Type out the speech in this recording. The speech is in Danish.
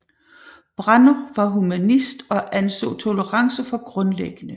Branner var humanist og anså tolerance for grundlæggende